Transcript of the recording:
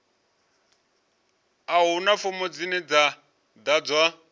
a huna fomo dzine dza ḓadzwa